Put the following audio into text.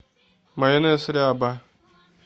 майонез ряба